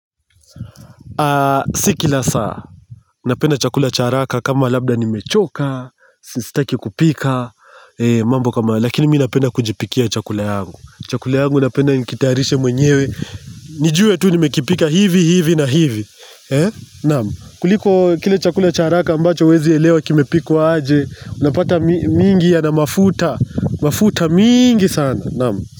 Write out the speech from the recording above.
Si kila saa, napenda chakula cha haraka kama labda nimechoka, sistaki kupika, mambo kama hayo.lakini mi napenda kujipikia chakula yangu, chakula yangu napenda nikitayarishe mwenyewe, nijue tu nimekipika hivi hivi na hivi, naam, kuliko kile chakula cha haraka ambacho huezi elewa kimepikwa aje, unapata mingi yana mafuta, mafuta miingi sana, naam.